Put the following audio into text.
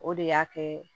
O de y'a kɛ